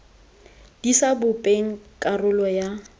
di sa bopeng karolo ya